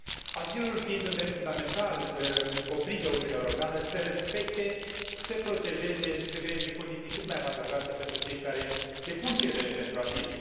Azilul fiind un drept fundamental, obligă Uniunea Europeană să respecte, să protejeze și să creeze condiții cât mai avantajoase pentru cei care depun cerere pentru azil.